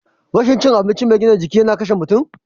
Rashin cin abinci mai gina jiki yana kashe mutum.